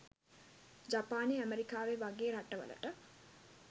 ජපානේ ඇමරිකාවේ වගේ රට වලට